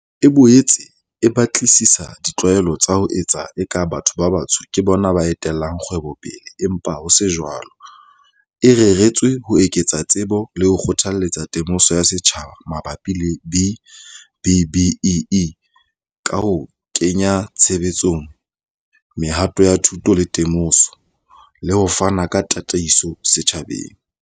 E boetse e batlisisa di tlwaelo tsa ho etsa eka batho ba batsho ke bona ba etellang kgwebo pele empa ho se jwalo, e reretswe ho eketsa tsebo le ho kgothaletsa temoso ya setjhaba mabapi le B-BBEE, ka ho kenya tshebetsong mehato ya thuto le temoso, le ho fana ka tataiso setjhabeng.